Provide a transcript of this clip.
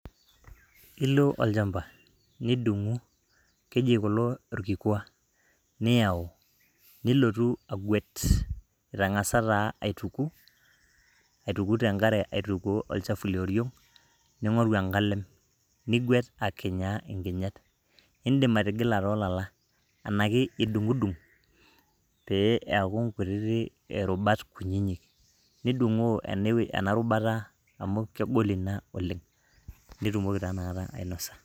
ilo olchamba nidung'u keji kulo irkikwa niyau, nilotu agwet itang'asa taa aituku aituku tenkare aitukuo olchafu lioriong ning'oru enkalem nigwet akinyaa inkinyat, indim atigila tolala enake idung'udung pee eaku inkuti rubat kunyinyi nidung'op ena rubata amu kegol ina oleng nitumoki taa nakata ainosa.